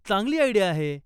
चांगली आयडिया आहे.